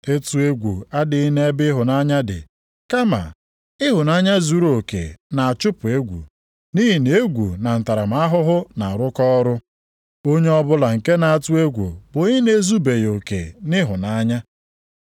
Ịtụ egwu adịghị nʼebe ịhụnanya dị, kama ịhụnanya zuruoke na-achụpụ egwu nʼihi na egwu na ntaramahụhụ na-arụkọ ọrụ, onye ọbụla nke na-atụ egwu bụ onye na-ezubeghị oke nʼịhụnanya.